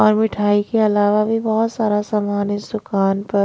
औरमिठाई के अलावा भी बहुत सारा सामान इस दुकान पर--